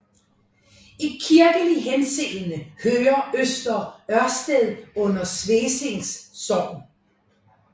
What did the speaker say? I kirkelig henseende hører Øster Ørsted under Svesing Sogn